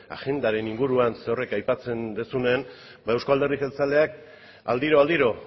agendaren inguruan zerorrek aipatzen duzunean euzko alderdi jeltzaleak aldiro aldiro